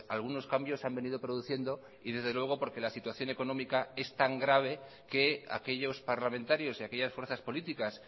algunos cambios han venido produciendo y desde luego porque la situación económica es tan grave que aquellos parlamentarios y aquellas fuerzas políticas